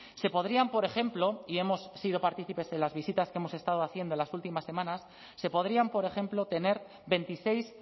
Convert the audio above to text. se podrían por ejemplo y hemos sido partícipes en las visitas que hemos estado haciendo en las últimas semanas se podrían por ejemplo tener veintiséis